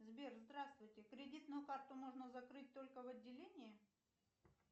сбер здравствуйте кредитную карту можно закрыть только в отделении